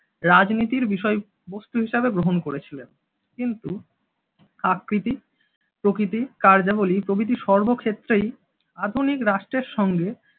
রাজনীতির বিষয়বস্তু হিসেবে গ্রহণ করেছিল। কিন্তু আকৃতি, প্রকৃতি, কার্যাবলি, প্রভৃতি সর্বক্ষেত্রেই আধুনিক রাষ্ট্রের সঙ্গে